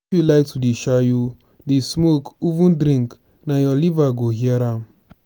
if you like to dey shayo dey smoke even drink na your liver go hear am.